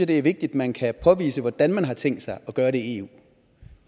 det er vigtigt at man kan påvise hvordan man har tænkt sig at gøre det i eu